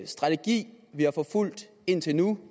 strategi vi har forfulgt indtil nu